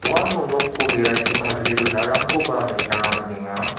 uano nokko berachi kadule donarangkoba nikna man·enga.